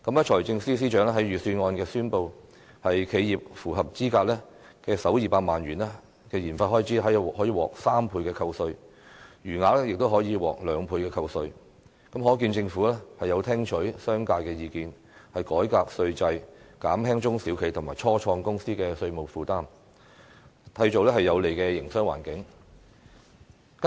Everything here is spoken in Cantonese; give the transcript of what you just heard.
財政司司長在預算案中宣布，企業符合資格的首200萬元研發開支可獲3倍扣稅，餘額亦可以獲兩倍扣稅，可見政府聽取了商界的意見，改革稅制，減輕中小企和初創公司的稅務負擔，締造有利的營商環境。